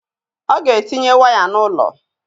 Ọ ga-etinye waya n'ụlọ